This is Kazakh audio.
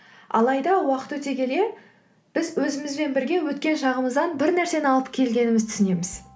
алайда уақыт өте келе біз өзімізбен бірге өткен жағымыздан бір нәрсені алып келгенімізді түсінеміз